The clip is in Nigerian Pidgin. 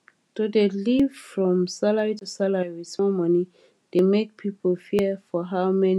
to dey live from salary to salary with small money dey make people fear for how money go loss